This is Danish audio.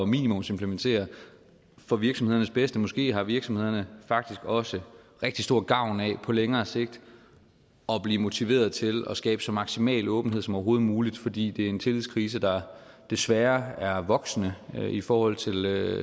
minimumsimplementere for virksomhedernes bedste måske har virksomhederne faktisk også rigtig stor gavn af på længere sigt at blive motiveret til at skabe så maksimal åbenhed som overhovedet muligt fordi det er en tillidskrise der desværre er voksende i forhold til